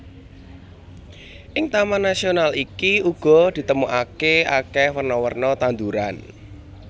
Ing taman nasional iki uga ditemokake akeh werna werna tanduran